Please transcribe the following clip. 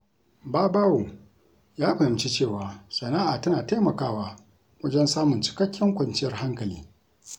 Babawo ya fahimci cewa sana’a tana taimakawa wajen samun cikakken kwanciyar hankali.